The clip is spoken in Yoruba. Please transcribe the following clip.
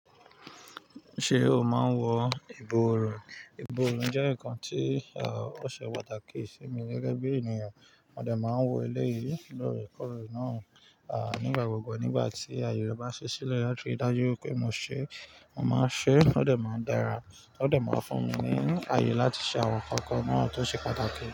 Ṣé o máa ń wọ ìborùn? Ìbòrùn jẹ́ ǹkan tí ọ̀ṣẹ pataki sí mi gẹ́gẹ́ bí ènìyàn. Mo dẹ̀ máa ń wọ eleyìí lóòrèkóòrè náà. À nígbà gbogbo nígbà tí aye re bá ń ṣi sílẹ̀ láti dájú pé mo ṣe, mo máa ṣe, ó dẹ̀ máa dára, ó dẹ̀ máa fún mi ní ayọ̀ láti ṣe àwọn ǹkan kan náà tó ṣe pàtàkì.